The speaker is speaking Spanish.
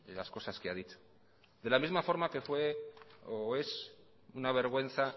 las cosas que ha dicho de la misma forma que fue o es una vergüenza